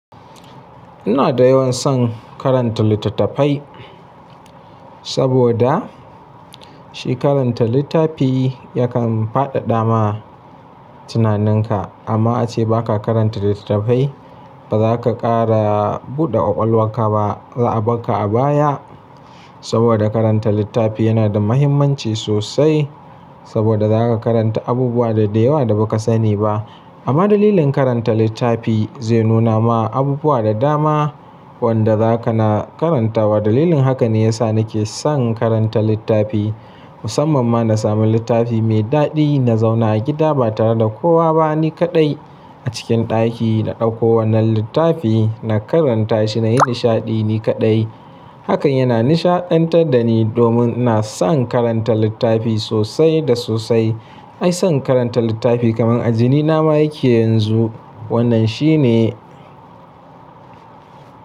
Ina da yawan son karanta littattafai saboda shi karanta littafi yakan fadada ma tunaninka. Amma ace baka karanta littattafai baza ka kara buɗe ƙwaƙwalwarka ba. Za a barka a baya saboda karanta littafi yana da muhimmanci sosai saboda zaka karanta abubuwa da dayawa da baka sani ba. Amma dalilin karanta littafi zai nuna ma abubuwa da dama wanda zaka na karantawa. Dalilin haka ne ya sa nake son karanta littafi musamman ma na sami littafi mai daɗi. Na zauna a gida ba tare da kowa ba, ni kaɗai a cikin ɗaki na ɗauko wannan littafi na karanta shi, nayi nishaɗi ni kaɗai. Hakan yana nishaɗantar da ni domin ina son karanta littafi sosai da sosai. Ai son karanta littafi kamar ajinina ma yake yanzu. Wannan shi ne.